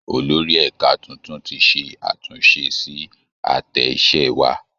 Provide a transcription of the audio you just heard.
Olórí ẹ̀ka tuntun ti ṣe àtúnṣe sí àtẹ iṣẹ́ wa